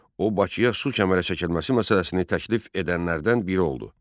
O Bakıya su kəmərə çəkilməsi məsələsini təklif edənlərdən biri oldu.